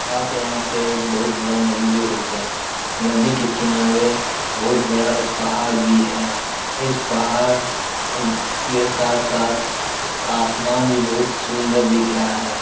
आप यहाँ पे एक बहोत बड़ा एक नदी देख सकते हैं। नदी के किनारे बहोत बड़ा एक पहाड़ भी है। और इस पहाड़ के साथ-साथ आसमान भी बहोत सुन्दर दिख रहा है।